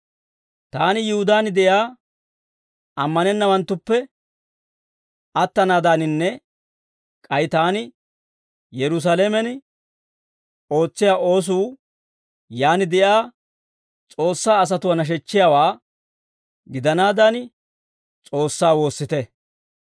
Taani Yihudaan de'iyaa ammanennawanttuppe attanaadaaninne k'ay taani Yerusaalamen ootsiyaa oosuu yaan de'iyaa S'oossaa asatuwaa nashechchiyaawaa gidanaadan, S'oossaa woossite.